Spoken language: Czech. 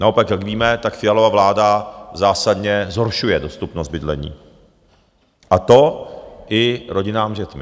Naopak jak víme, tak Fialova vláda zásadně zhoršuje dostupnost bydlení, a to i rodinám s dětmi.